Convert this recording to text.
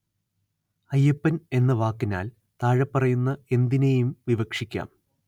അയ്യപ്പന്‍ എന്ന വാക്കിനാല്‍ താഴെപ്പറയുന്ന എന്തിനേയും വിവക്ഷിക്കാം